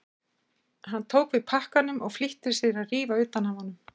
Hann tók við pakkanum og flýtti sér að rífa utan af honum.